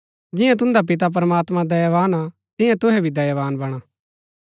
जियां तुन्दा पिता प्रमात्मां दयावान हा तियां तुहै भी दयावान वणा